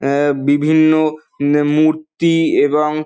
অ্যা অ্যা অ্যা বিভিন্ন উম মূর্তি এবং--